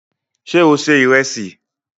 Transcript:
Sé o ṣe ìrẹsì?